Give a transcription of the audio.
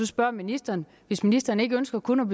spørge ministeren hvis ministeren ikke ønsker kun